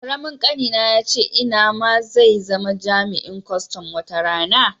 Karamin ƙanina yace ina ma zai zama jami'in kustum wata rana.